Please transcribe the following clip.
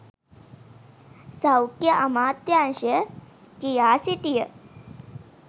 සෞඛ්‍ය අමාත්‍යාංශය කියා සිටිය